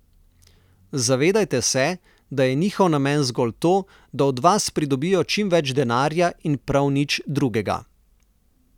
Zavedajte se, da je njihov namen zgolj to, da od vas pridobijo čim več denarja in prav nič drugega.